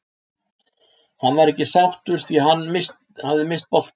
Hann var ekki sáttur því hann hafði misst boltann.